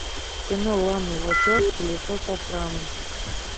кино ланы вачовски лицо со шрамом